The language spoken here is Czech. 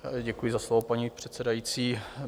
Děkuji za slovo, paní předsedající.